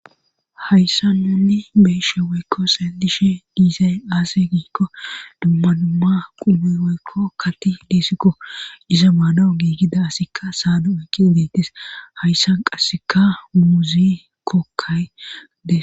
hayssa nunni beeshe weykko xellishe diizay aase giikko dumma dumma qume woykko kati dissikko iza maanawu giigida asikka saadu oykki dettis hayssan qasseka muuzi kokkayde